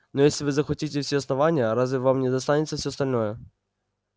но если вы захватите все основание разве вам не достанется всё остальное